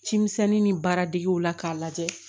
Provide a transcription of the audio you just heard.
Cimisɛnnin ni baaradegew la k'a lajɛ